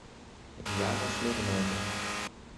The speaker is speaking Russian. яна смирнова